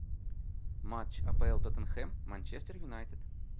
матч апл тоттенхэм манчестер юнайтед